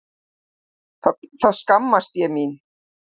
Þá skammaðist ég mín.